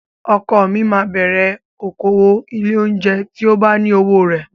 Ọkọ mi máa bẹ̀rẹ̀ okòwò ilé-oúnjẹ tí ó bá ní owó rẹ̀.